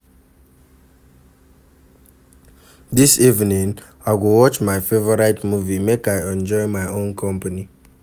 Dis evening, I go watch my favorite movie make I enjoy my own company